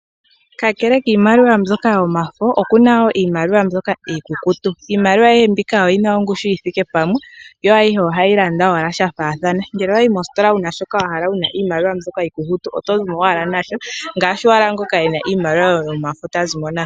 Ka kele kiimaliwa mbyoka yomafo okuna wo niimaliwa mbyoka iikukutu. Iimaliwa ayihe mbika oyina ongushi yi thike pamwe, yo ayihe ohayi landa owala sha faathana. Ngele owa yi mositola wu na shi wa hala wu na iimaliwa mbyoka iikukutu oto zi mo owala na sho ngaashi owala ngoka ena iimaliwa yomafo ta zi mo nayo.